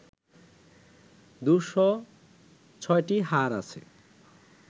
দু’শ ছ’টি হাড় আছে